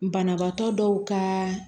Banabaatɔ dɔw ka